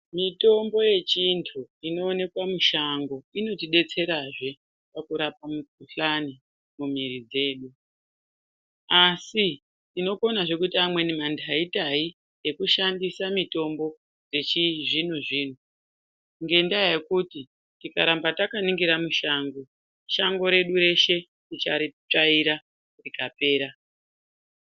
Mutombo yechintu inooneka mushango inotidetserazvee kurapa mukhuhlani mumwiri dzedu. Asi tinokonazve kuita amweni manhaitai ekushandisa mitombo yechizvino zvino ngendaa yekuti tikaramba takaningira mushango, shango redu reshe ticharitsvaira rikapera.